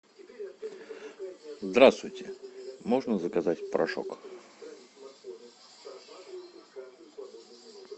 здравствуйте можно заказать порошок